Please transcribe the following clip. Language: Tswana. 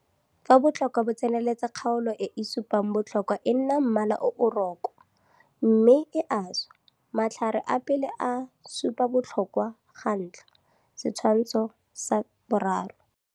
Fa botlhokwa bo tseneletse kgaolo e e supang botlhokwa e nna mmala o o rokwa mme e a swa. Matlhare a pele a supa botlhokwa ga ntlha, Setshwantsho sa 3.